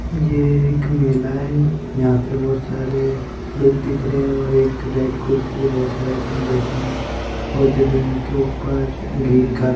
ये एक मेला है यहां पे बहुत सारे लोग दिख रहे है एक रेड कुर्सी पे बहुत सारे जन बैठे है और जमीन के ऊपर ग्रीन कारपेट बिछी हुई है।